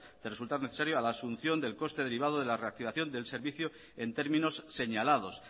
de resultar necesario a la asunción del coste derivado de la reactivación del servicio en términos señalados